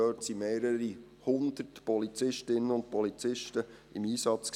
Dort waren mehrere Hundert Polizistinnen und Polizisten im Einsatz.